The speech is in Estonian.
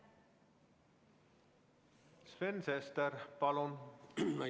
Sven Sester, palun!